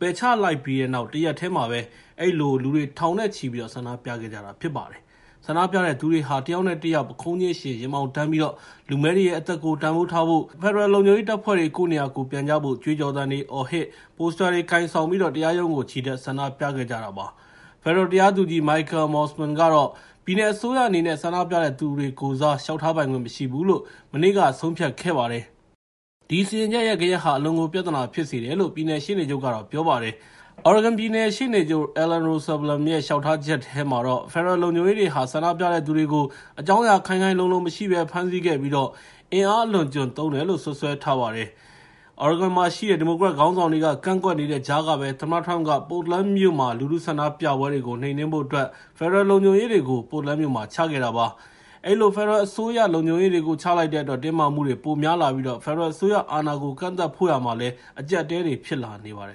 ပယ်ချလိုက်တဲ့ တရက်တည်းမှာပဲ အဲဒီလို လူတွေ ထောင်နဲ့ချီ ဆန္ဒပြခဲ့ကြတာ ဖြစ်ပါတယ်။ ဆန္ဒပြတဲ့သူတွေဟာ တယောက်နဲ့တယောက် ပုခုံးချင်းယှဉ် ရင်ဘောင်တန်းပြီး လူမည်းတွေရဲ့အသက်ကို တန်ဖိုးထားဖို့၊ ဖက်ဒရယ်လုံခြုံရေးတပ်ဖွဲ့တွေ ကိုယ့်နေရာ ကိုယ်ပြန်ကြဖို့ ကြွေးကြော်သံတွေအော်၊ ပိုစတာတွေ ကိုင်ပြီးတော့ တရားရုံးကို ချီတက် ဆန္ဒပြခဲ့ကြတာပါ။ ဖက်ဒရယ်တရားသူကြီး Michael Mosman ကတော့ ပြည်နယ်အစိုးရအနေနဲ့ ဆန္ဒပြသူတွေကိုယ်စား လျှောက်ထားပိုင်ခွင့် မရှိဘူးလို့ မနေ့က ဆုံးဖြတ်ခဲ့ပါတယ်။ ဒီစီရင်ချက်ရဲ့ ဂယက်ဟာ အလွန်ကို ပြဿနာဖြစ်စေတယ်လို့ ပြည်နယ်ရှေ့နေချုပ်က ပြောပါတယ်။ Oregon ပြည်နယ်ရှေ့နေချုပ် Ellen Rosenblum ရဲ့ လျှောက်ထားချက်ထဲမှာတော့ ဖက်ဒရယ်လုံခြုံရေးတွေဟာ ဆန္ဒပြသူတွေကို အကြောင်းအရာ ခိုင်ခိုင်လုံလုံမရှိဘဲ ဖမ်းဆီးခဲ့ပြီး အင်အားအလွန်အကျွံ သုံးတယ်လို့ စွပ်စွဲထားပါတယ်။ Oregon မှာရှိတဲ့ ဒီမိုကရက်ခေါင်းဆောင်တွေက ကန့်ကွက်နေတဲ့ကြားကပဲ သမ္မတ Trump က Portland မြို့ လူထုဆန္ဒပြပွဲတွေကို နှိမ်နင်းဖို့အတွက် ဖက်ဒရယ်လုံခြုံရေးတွေကို Portland မြို့မှာ ချခဲ့တာဖြစ်ပါတယ်။ အဲဒီလို ဖက်ဒရယ်အစိုးရ လုံခြုံရေးတွေကို ချလိုက်တဲ့အတွက် တင်းမာမှုတွေ ပိုများလာပြီး ဖက်ဒရယ်အစိုးရအာဏာကို ကန့်သတ်ဖို့ရာမှာလည်း အကျပ်အတည်း ဖြစ်လာပါတယ်